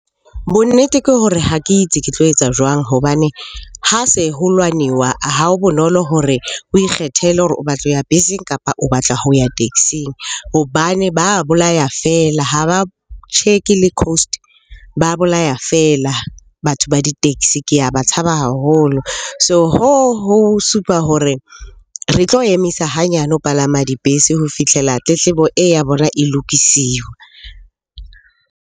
Bonnete ke hore ha ke itsi ke tlo etsa jwang hobane ha se ho lwaniwa ha ho bonolo hore o ikgethele hore o batla ho ya beseng, kapa o batla ho ya taxing. Hobane ba bolaya feela, ha ba check le coast, ba bolaya feela batho ba di-taxi, ke a ba tshaba haholo. So, hoo ho supa hore re tlo emisa hanyane ho palama dibese ho fihlela tletlebo e ya bona e lokisiwa.